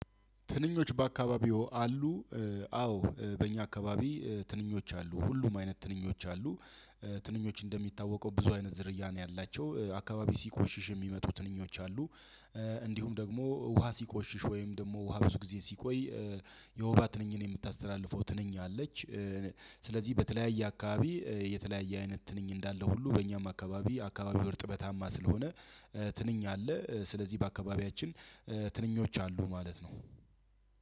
ትንኞች በአካባቢው አሉ። አዎ በእኛ አካባቢ ትንኞች አሉ ሁሉም አይነት ትንኞች አሉ። ትንኞች እንደሚታወቀው ብዙ አይነት ዝርያ ነው ያላቸው አካባቢ ሲቆሽሽ የሚመጡ ትንኞች አሉ። እንዲሁም ደግሞ ውሃ ሲቆሽሽ ወይም ደግሞ ውሃ ብዙ ጊዜ ሲቆይ የወባ ትንኝን የምታስተላልፈው ትንኛለች። ስለዚህ በተለያየ አካባቢ የተለያየ አይነት ትንኝ እንዳለ ሁሉ በእኛም አካባቢ አካባቢው እርጥበታማ ስለሆነ። ትንኝ አለ ስለዚህ በአካባቢያችን ትንኞች አሉ ማለት ነው።